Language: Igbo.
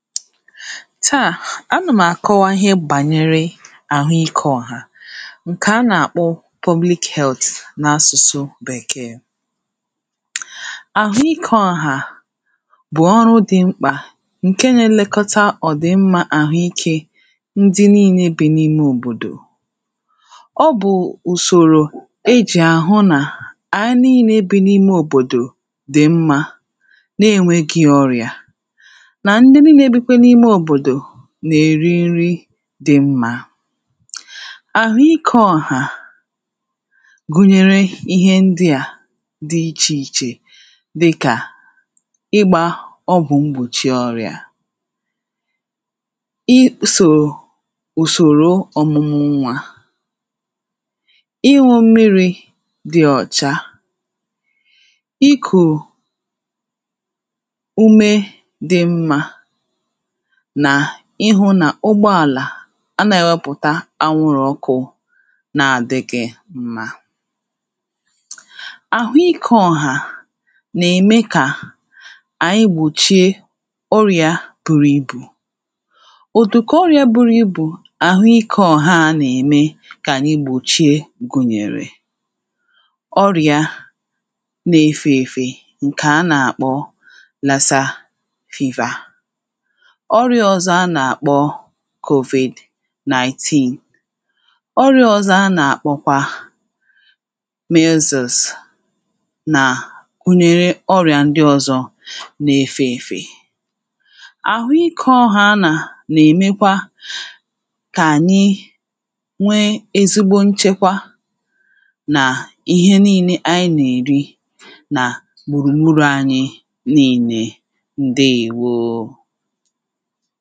taa anà m̀ àkọwa ihe gbànyere àhụ ikė ọ̀hà ǹkè a nà-àkpọ public health n’asụ̀sụ bèkee.àhụ ikė ọ̀hà bụ̀ ọrụ dị̀ mkpà ǹke nȧ-ėlekọta ọ̀ dị̀ mmȧ àhụ ikė ndị nille bụ n’ime òbòdò ọ bụ̀ ùsòrò e jì àhụ nà ànyi nille ebė n’ime òbòdò dị̀ mmȧ na-enwegị̇ ọrịà na ndị niile bikwa n'ime obodo n’èri nri̇ dị mmȧ. àhụikė ọ̀hà um gụnyere ihe ndị à dị ichè ichè dịkà ịgbȧ ọgwụ̀ mgbòchì ọrị̇à[paues] isò ùsòro ọ̀mụmụ nwȧ, ịñụ̇ mmiri̇ dị ọ̀cha, ikù[paues] ume dị mma nà ịhụ̇ nà ụgbọàlà anàghi enwẹpụ̀ta anwụrụ̇ ọkụ̇ na-àdịghị̇ mma. àhụ ikė ọ̀hà nà-ème kà um ànyị gbòchie ọrịȧ bùrù ibù. Ùdịkà ọrịȧ buru ibù àhụ ikė ọ̀hà a nà-ème kà ànyị gbòchie gụ̀nyèrè [paues]ọrịȧ na-efė efė ǹkè a nà-àkpọ lasar fever ọrịa ọzọ a nà kpọ [paues]covid-19 ọrịa ọzọ a nà àkpọ̀kwa misus nà gunyere ọrịà ndị ọzọ nà efe efe.àhụ ịkọ ọhȧ a nà nà èmekwa kà ànyị nwee ezigbo nchekwa nà ihe niilė ànyị nà èri nà gbùrùgbùrù anyị nile ǹdeèwo